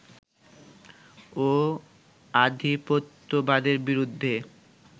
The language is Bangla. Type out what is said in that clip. ও আধিপত্যবাদের বিরুদ্ধে